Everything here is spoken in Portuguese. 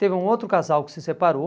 Teve um outro casal que se separou.